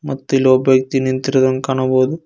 ಮತ್ತು ಇಲ್ಲೊಬ್ಬ ವ್ಯಕ್ತಿ ನಿಂತಿರುವುದನ್ನು ಕಾಣಬಹುದು.